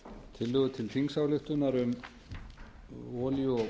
tillögu til þingsályktunar um olíu og